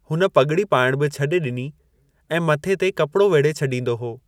हुन पॻड़ी पाइण बि छॾे ॾिनी ऐं मथे ते कपड़ो वेढे़ छॾींदो हो।